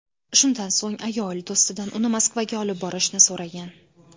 Shundan so‘ng, ayol do‘stidan uni Moskvaga olib borishni so‘ragan.